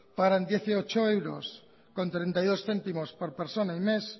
pagarán dieciocho euros con treinta y dos céntimos por persona y mes